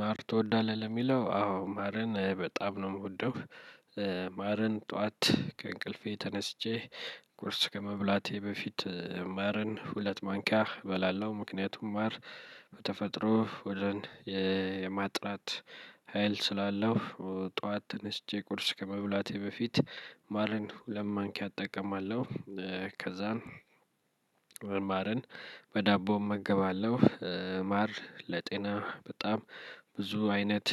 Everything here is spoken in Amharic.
ማር ትወዳለህ ለሚለው አዎ ማርን በጣም ነው የምወደው። ማርን ጠዋት ከእንቅልፌ ተነስቼ ቁርስ ከመብላቴ በፊት ማርን ሁለት ማንኪያ እበላለሁ። ምክንያቱም ማር በተፈጥሮ ሆድን የማጥራት ሀይል ስላለው ጠዋት ተነስቼ ቁርስ ከመብላቴ በፊት ማርን ሁለት ማንኪያ እጠቀማለሁ። ከዛን ማርን በዳቦ እመገባለሁ። ማር ለጤና በጣም ብዙ አይነት